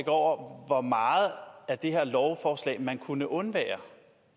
over hvor meget af det her lovforslag man kunne undvære